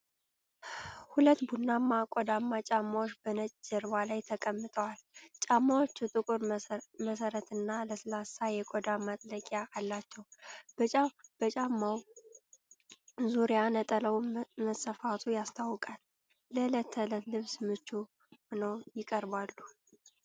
ሁለት ቡናማ ቆዳማ ጫማዎች በነጭ ጀርባ ላይ ተቀምጠዋል። ጫማዎቹ ጥቁር መሠረትና ለስላሳ የቆዳ ማጥለቂያ አላቸው። በጫማው ዙሪያ ነጠላው መሰፋቱ ያስታውቃል፤ ለዕለት ተዕለት ልብስ ምቹ ሆነው ይቀርባሉ።